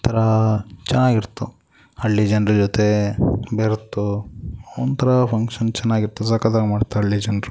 ಒಂತರ ಚನ್ನಾಗಿರ್ತು ಹಳ್ಳಿ ಜನ್ರ ಜೊತೆ ಬೆರೆತು ಒಂತರ ಫಕ್ಷನ್ ಚನ್ನಾಗಿತ್ತು ಸಕತ್ತಾಗಿ ಮಾಡತ್ತಾ ಹಳ್ಳಿ ಜನ್ರು.